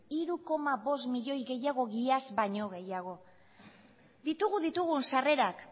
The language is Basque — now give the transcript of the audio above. hiru koma bost milioi gehiago iaz baino gehiago ditugu sarrerak